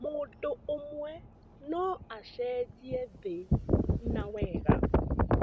Mũndũ ũmwe no acenjie thĩ na wega.